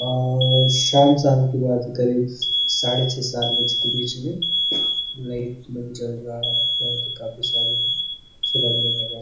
और शाम - शाम की बात हैं करीब साढ़े छ : सात बजे के बीच में लाइट मन जल रहा हैं काफी सारे अच्छे लग रहे है नज़ारे।